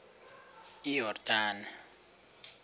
iyordane